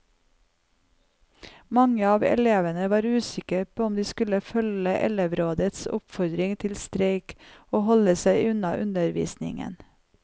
Mange av elevene var usikre på om de skulle følge elevrådets oppfordring til streik og holde seg unna undervisningen.